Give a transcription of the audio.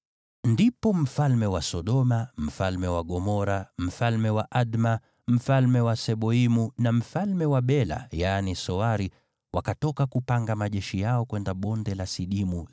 Ndipo mfalme wa Sodoma, mfalme wa Gomora, mfalme wa Adma, mfalme wa Seboimu, na mfalme wa Bela (yaani Soari) wakatoka kupanga majeshi yao kwenye Bonde la Sidimu